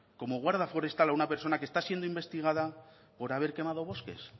como guarda forestal a una persona que está siendo investigada por haber quemado bosques